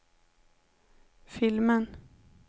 filmen